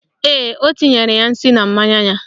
Ee, o tinyere ya nsị na mmanya ya